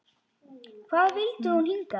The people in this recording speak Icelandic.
Hvað vildi hún hingað?